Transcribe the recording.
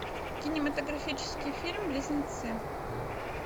кинематографический фильм близнецы